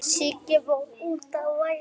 Heyrðir þú þetta?